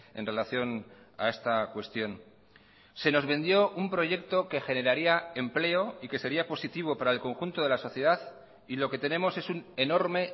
en relación a esta cuestión se nos vendió un proyecto que generaría empleo y que sería positivo para el conjunto de la sociedad y lo que tenemos es un enorme